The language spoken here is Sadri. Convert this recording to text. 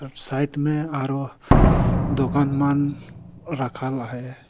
अर साइड में आरो दोकान मान रखल आहे।